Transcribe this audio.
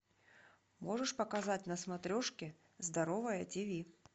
можешь показать на смотрешке здоровое тиви